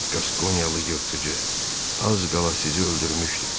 "Qaskonyalı yırtıcı az qala sizi öldürmüşdü."